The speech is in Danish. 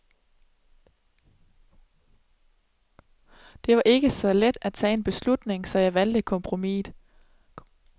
Det var ikke så let at tage en beslutning, så jeg valgte kompromisset.